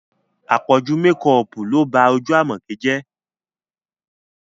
Àpọ̀jù mekọọ̀pù ló ba ojú Àmọ̀kẹ́ jẹ́